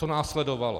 Co následovalo?